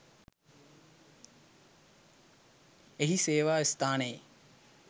එහි සේවා ස්ථානයේ